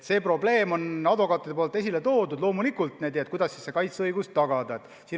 Advokaadid on jah selle küsimuse esile toonud – loomulikult, kuidas ikkagi kaitseõigus tagada.